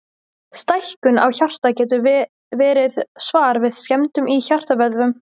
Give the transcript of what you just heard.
Stækkun á hjarta getur verið svar við skemmdum í hjartavöðvanum.